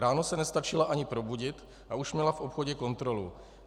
Ráno se nestačila ani probudit, a už měla v obchodě kontrolu.